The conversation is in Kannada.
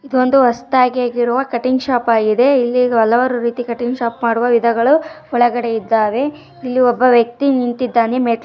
ಇದೊಂದು ಹೊಸದಾಗಿ ಆಗಿರುವ ಕಟಿಂಗ್ ಶಾಪ್ ಆಗಿದೆ ಇಲ್ಲಿ ಹಲವಾರು ರೀತಿಯ ಕಟಿಂಗ್ ಗಳು ಮಾಡಲಾಗುತ್ತದೆ ಇದೆ ಒಬ್ಬ ವ್ಯಕ್ತಿ ನಿಂತಿದ್ದಾನೆ.